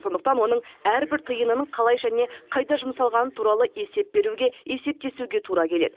сондықтан оның әрбір тиынын қалай және қайда жұмсалғаны туралы есеп беруге есептесуге тура келеді